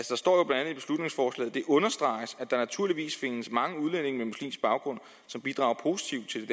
det understreges at der naturligvis findes mange udlændinge med muslimsk baggrund som bidrager positivt